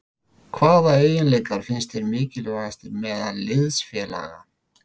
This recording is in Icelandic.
Hvaða eiginleika finnst þér mikilvægastir meðal liðsfélaga?